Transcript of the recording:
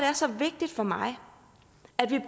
er så vigtigt for mig at vi